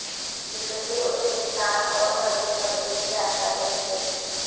जिससे उसके स्थान और घर के पते की जानकारी मिल गई